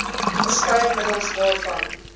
verskeie middels waarvan